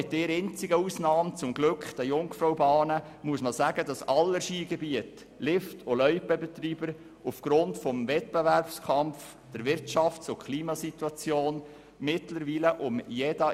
Man muss wohl sagen, dass alle Skigebiete, Lift- und Loipenbetreiber aufgrund des Wettbewerbs sowie der Wirtschafts- und Klima-Situation um jeden einzelnen Franken kämpfen.